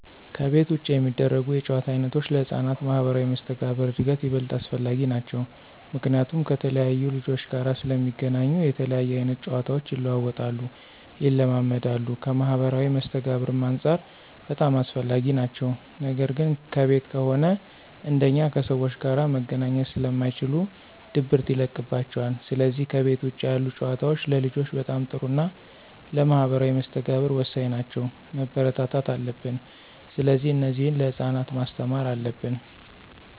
ከቤት ውጭ የሚደረጉ የጨዋታ ዓይነቶች ለሕፃናት ማኅበራዊ መስተጋብር እድገት ይበልጥ አስፈላጊ ናቸዉ። ምክንያቱም ከተለያየ ልጆች ጋር ስለሚገናኙ የተለያየ አይነት ጨዋታቸው ይለዋወጣሉ፣ ይለማመዳሉ ከማህበራዊ መስተጋብርም አንፃር በጣም አስፈላጊ ናቸው ነገር ግን ከቤት ከሆነ አንደኛ ከሰዎች ጋር መገናኘት ስለማይችሉ ድብርት ይለቅባቸዋል ስለዚህ ከቤት ውጭ ያሉ ጨዋታዎች ለልጆች በጣም ጥሩና ለማህበራዊ መስተጋብር ወሳኝ ናቸው፣ መበረታታት አለብን። ስለዚህ እነዚህን ለህፃናት ማስተማር አለብን።